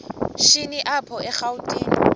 shini apho erawutini